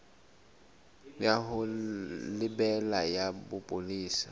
ya ho lebela ya bopolesa